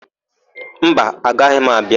Mba, agaghị m abịa.